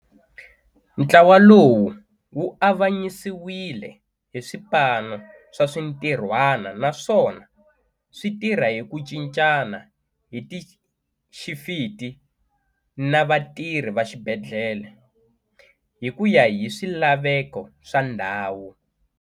Ntlawa lowu wu avanyisiwile hi swipano swa swintirhwana naswona swi tirha hi ku cincana hi tixifiti na vatirhi va xibedhlele, hi ku ya hi swilaveko swa ndhawu.